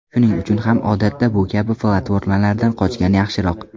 Shuning uchun ham odatda bu kabi platformalardan qochgan yaxshiroq.